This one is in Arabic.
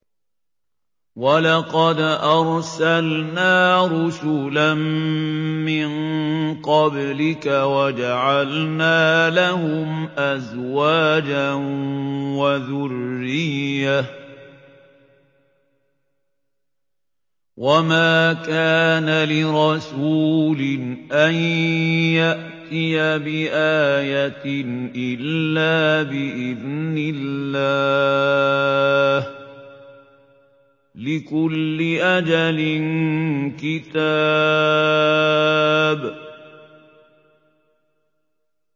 وَلَقَدْ أَرْسَلْنَا رُسُلًا مِّن قَبْلِكَ وَجَعَلْنَا لَهُمْ أَزْوَاجًا وَذُرِّيَّةً ۚ وَمَا كَانَ لِرَسُولٍ أَن يَأْتِيَ بِآيَةٍ إِلَّا بِإِذْنِ اللَّهِ ۗ لِكُلِّ أَجَلٍ كِتَابٌ